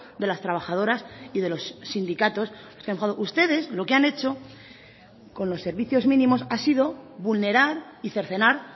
de las trabajadoras y de los sindicatos ustedes lo que han hecho con los servicios mínimos ha sido vulnerar y cercenar